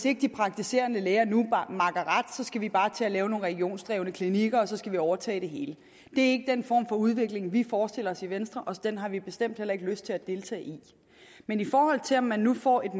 ikke de praktiserende læger nu makker ret skal vi bare til at lave nogle regionsdrevne klinikker og så skal vi overtage det hele det er ikke den form for udvikling vi forestiller os i venstre og den har vi bestemt heller ikke lyst til at deltage i men i forhold til om man nu får et